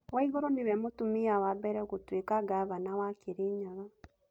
Waigũrũ nĩwe mũtumia wa mbere gũtuĩka ngavana wa Kĩrĩnyaga